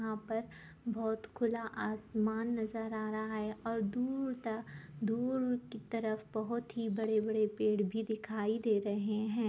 यहाँ पर बहुत खुला आसमान नजर आ रहा है और दूर तक दूर की तरफ बहुत ही बड़े-बड़े पेड़ भी दिखाई दे रहे है।